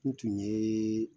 N tun ye